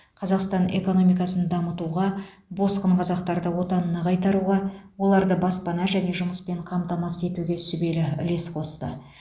қазақстан экономикасын дамытуға босқын қазақтарды отанына қайтаруға оларды баспана және жұмыспен қамтамасыз етуге сүбелі үлес қосты